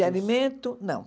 De alimento, não.